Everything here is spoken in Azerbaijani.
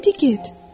İndi get.